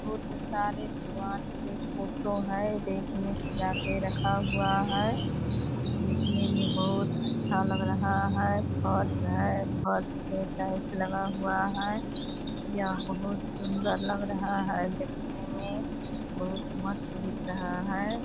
बहुत सारे भगवान के फोटो हैं | ये देखने सजा के रखा हुआ है | देखने में बहुत अच्छा लग रहा है | फर्श है फर्श पे टाइल्स लगा हुआ है | यह बहुत सुंदर लग रहा है देखने में | बहुत मस्त दिख रहा है |